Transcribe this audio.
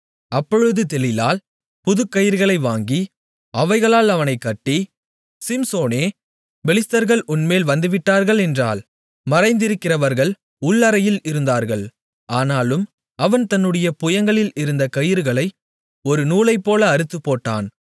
அப்பொழுது தெலீலாள் புதுக்கயிறுகளை வாங்கி அவைகளால் அவனைக்கட்டி சிம்சோனே பெலிஸ்தர்கள் உன்மேல் வந்துவிட்டார்கள் என்றாள் மறைந்திருக்கிறவர்கள் உள் அறையில் இருந்தார்கள் ஆனாலும் அவன் தன்னுடைய புயங்களில் இருந்த கயிறுகளை ஒரு நூலைப்போல அறுத்துப்போட்டான்